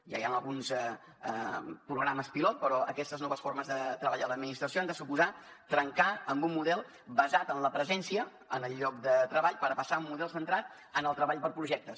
ja hi ha alguns programes pilot però aquestes noves formes de treball en l’administració han de suposar trencar amb un model basat en la presència en el lloc de treball per passar a un model centrat en el treball per projectes